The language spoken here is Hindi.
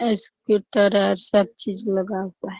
स्कूटर आर सब चीज लगा हुआ है।